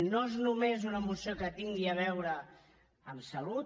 no és només una moció que tingui a veure amb salut